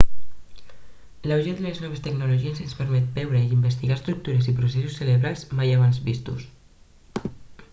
l'auge de les noves tecnologies ens permet veure i investigar estructures i processos cerebrals mai abans vistos